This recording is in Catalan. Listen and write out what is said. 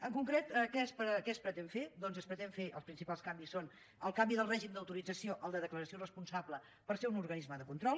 en concret què es pretén fer doncs els principals canvis són el canvi del règim d’autorització al de declaració responsable per ser un organisme de control